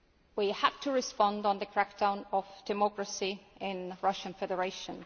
We have to respond to the crackdown on democracy in the Russian Federation.